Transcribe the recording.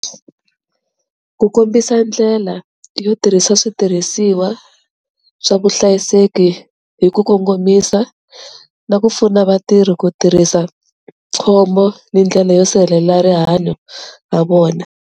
Ku kombisa ndlela yo tirhisa switirhisiwa swa vuhlayiseki hi ku kongomisa na ku pfuna vatirhi ku tirhisa khombo ni ndlela yo sirhelela rihanyo ra vona.